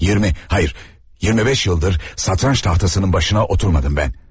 20, hayır, 25 yıldır satranç tahtasının başına oturmadım ben.